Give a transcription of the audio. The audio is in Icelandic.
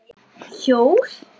Hjól?